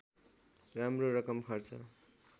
राम्रो रकम खर्च